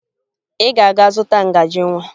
Ị ga-aga zụta ngaji nwa!